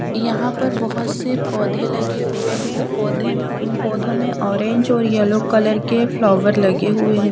यहां पर बहोत से पौधे लगे हुए हैं पौधे पौधों में ऑरेंज और येलो कलर के फ्लावर लगे हुए हैं।